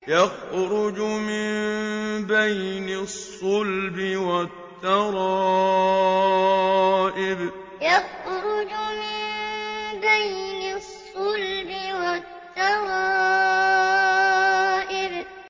يَخْرُجُ مِن بَيْنِ الصُّلْبِ وَالتَّرَائِبِ يَخْرُجُ مِن بَيْنِ الصُّلْبِ وَالتَّرَائِبِ